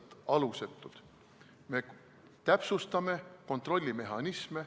Me täpsustame Schengeni alale sisenemise kontrollimehhanisme.